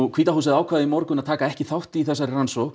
hvíta húsið ákvað í morgun að taka ekki þátt í rannsókn